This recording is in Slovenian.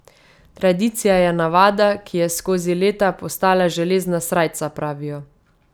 Tradicija je navada, ki je skozi leta postala železna srajca, pravijo.